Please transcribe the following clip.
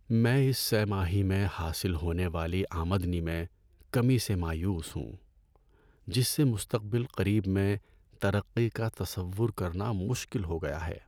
میں اس سہ ماہی میں حاصل ہونے والی آمدنی میں کمی سے مایوس ہوں، جس سے مستقبل قریب میں ترقی کا تصور کرنا مشکل ہو گیا ہے۔